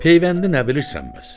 Peyvəndi nə bilirsən bəs?